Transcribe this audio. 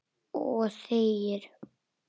Og þegir.